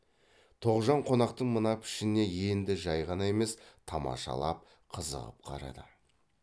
тоғжан қонақтың мына пішініне енді жай ғана емес тамашалап қызығып қарады